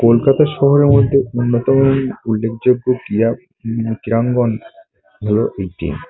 কলকাতা শহরের মধ্যে অন্যতম উল্লেখযোগ্য ।